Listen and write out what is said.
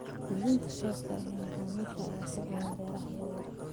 Iibinta tooska ah ee macaamiisha ayaa ku badan beeraha yar yar.